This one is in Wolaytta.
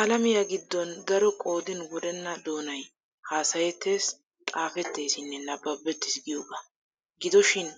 Alamiya giddon daro qoodin wurenna doonay haasayettee, xaafetteesinne nabbabettees giyogaa. Gido shin